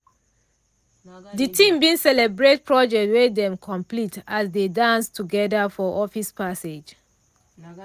de team bin celebrate project wey dem complete as dey dance together for office passage